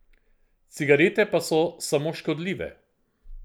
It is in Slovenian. Cigarete pa so samo škodljive.